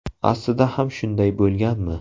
Aslida ham shunday bo‘lganmi?